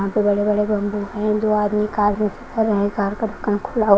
यहां पर दो बड़े बड़े बंबू है एंड दो आदमी कार खड़े हुए हैं कार का दुकान खुला हुआ --